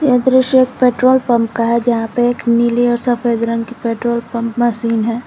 दृश्य एक petrol pump का है जहां पे एक नीले और सफेद रंग के पेट्रोल पंप मशीन है।